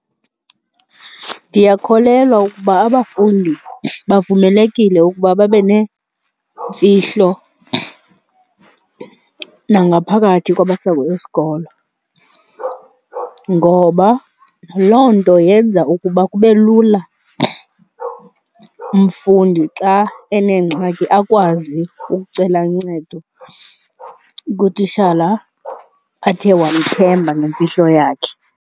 Ndiyakholelwa ukuba abafundi bavumelekile ukuba babe neemfihlo nangaphakathi kwamasango esikolo, ngoba loo nto yenza ukuba kube lula umfundi xa enengxaki akwazi ukucela uncedo kutishala athe wamthemba nemfihlo yakhe.